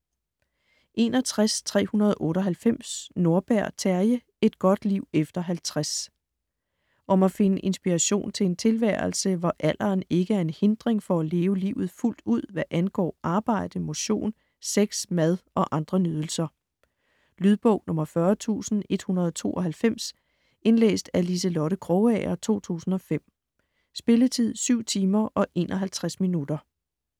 61.398 Nordberg, Terje: Et godt liv efter 50 Om at finde inspiration til en tilværelse, hvor alderen ikke er en hindring for at leve livet fuldt ud hvad angår arbejde, motion, sex, mad og andre nydelser. Lydbog 40192 Indlæst af Liselotte Krogager, 2005. Spilletid: 7 timer, 51 minutter.